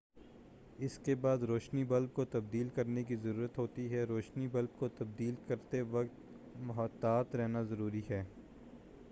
اس کے بعد روشنی بلب کو تبدیل کرنے کی ضرورت ہوتی ہے روشنی بلب کو تبدیل کرتے وقت محتاط رہنا ضروری ہے